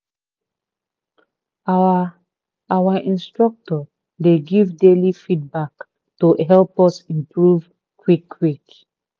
our our instructor dey give daily feedback to help us improve quick quick